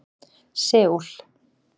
Seúl